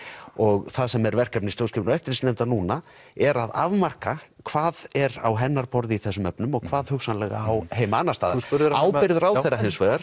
og það sem er verkefni stjórnsýslu og eftirlitsnefndar núna er að afmarka hvað er á hennar borði í þessum efnum og hvað hugsanlega á heima annars staðar ábyrgð ráðherra hins vegar